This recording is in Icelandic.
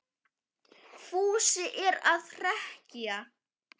Fúsi er að hrekkja